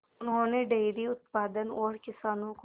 उन्होंने डेयरी उत्पादन और किसानों को